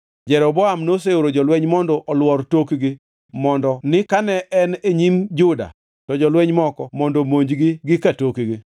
Jeroboam noseoro jolweny mondo oluor e tokgi mondo ni kane en e nyim Juda to jolweny moko mondo omonjgi gi ka tokgi.